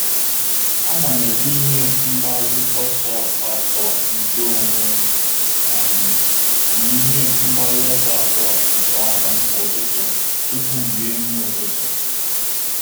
A na m ede ihe mgbaru ọsọ atọ nke onwe um m na ihe mgbaru ọsọ atọ nke ọrụ m kwa ụtụtụ tupu m rie nri ụtụtụ.